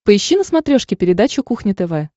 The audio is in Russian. поищи на смотрешке передачу кухня тв